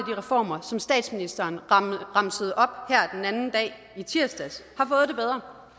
reformer som statsministeren remsede op i tirsdags har